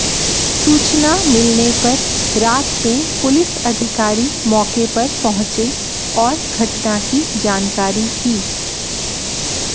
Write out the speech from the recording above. सूचना मिलने पर रात में पुलिस अधिकारी मौके पर पहुंचे और घटना की जानकारी की